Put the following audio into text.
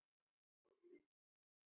Hún færir sig úr stað.